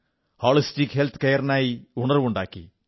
holistic health കെയറിനായി ഉണർവ്വുണ്ടാക്കി